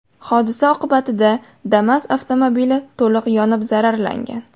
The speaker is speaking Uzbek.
Hodisa oqibatida Damas avtomobili to‘liq yonib zararlangan.